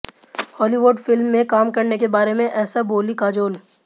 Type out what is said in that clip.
Hollywood film में काम करने के बारे में ऐसा बोलीं काजोल